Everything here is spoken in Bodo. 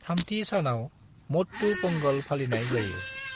थामथि सानाव मट्टू पोंगल फालिनाय जायो।